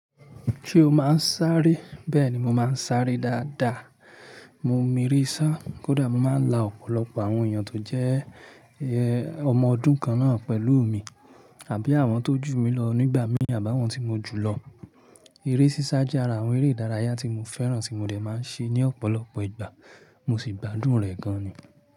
Ṣé o máa ń sáré? Bẹ́ẹ̀ni, mo máa ń sáré dáadáa. Mo mo eree sa, kódà mo máa ń la ọ̀pọ̀lọpọ̀ àwọn èèyàn tó jẹ́ ọmọ ọdún kan náà pẹ̀lú mi àbí àwọn tó jù mí lọ nígbà míi àbi àwọn tí mo jù lọ. Eré sísá jẹ́ ara àwọn eré ìdárayá tí mo fẹ́ràn tí mo dẹ̀ máa ń ṣe ní ọ̀pọ̀lọpọ̀ ìgbà. Mo sì gbádùn rẹ̀ gan ni.